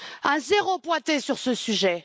Un zéro pointé sur ce sujet.